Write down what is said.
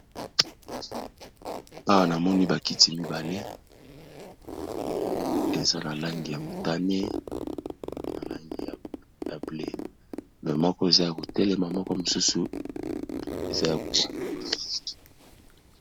Awa na moni ba kiti mibale eza na langi ya motane, na langi ya bleu. Mais moko eza ya ko telema, moko mosusu eza ya ko baluka.